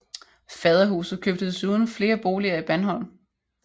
Faderhuset købte desuden flere boliger i Bandholm